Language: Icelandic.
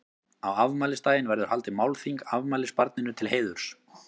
Á afmælisdaginn verður haldið málþing afmælisbarninu til heiðurs.